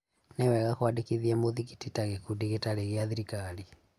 Nĩ wega kuandikĩthĩa muthĩgiti ta gikundi gitarĩ Gia thirikari.